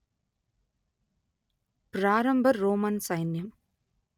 ప్రారంభ రోమన్ సైన్యం